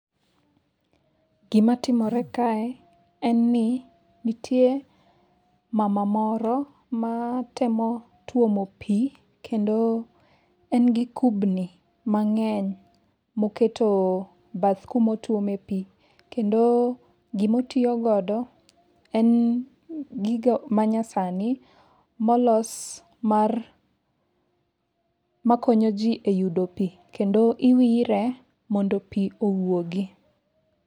Gima timore kae en ni nitie mama moro ma temo twomo pi kendo en gi kubni mang'eny moketo bath kumotuome pi. Kendo gimotiyogodo en gigo ma nyasani molos mar makonyoji e yudo pi. Kendo iwire mondo pi owuogi.